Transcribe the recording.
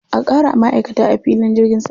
A ƙara ma'aikata a filin jirgin sama.